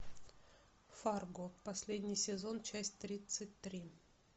фарго последний сезон часть тридцать три